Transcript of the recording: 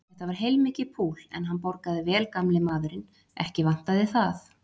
Þetta var heilmikið púl, en hann borgaði vel gamli maðurinn, ekki vantaði það.